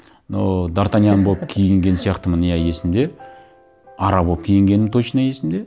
но д артаньян болып киінген сияқтымын иә есімде ара болып киінгенім точно есімде